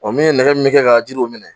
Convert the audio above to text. O min ye nɛgɛ min kɛ ka jiriw minɛ